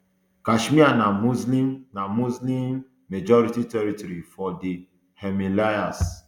kashmir na muslim na muslim um majority territory for di himalayas